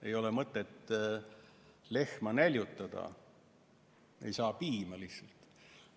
Ei ole mõtet lehma näljutada, siis talt lihtsalt piima ei saa.